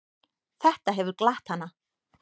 Þetta hefur glatt hana.